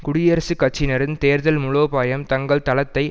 குடியரசுக் கட்சியினரின் தேர்தல் முலோபாயம் தங்கள் தளத்தை